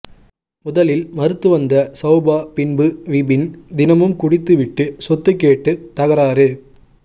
முதலில் மறுத்து வந்த சௌபா பின்பு விபின் தினமும் குடித்து விட்டு சொத்து கேட்டு தகராறு